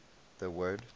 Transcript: the word